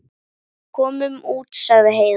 Komum út, sagði Heiða.